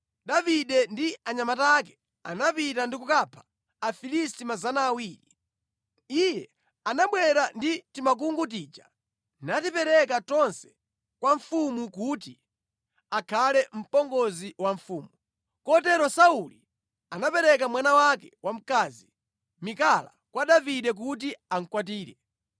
Davide ndi anyamata ake anapita ndi kukapha Afilisti 200. Iye anabwera ndi timakungu tija natipereka tonse kwa mfumu kuti akhale mpongozi wa mfumu. Kotero Sauli anapereka mwana wake wamkazi, Mikala, kwa Davide kuti amukwatire.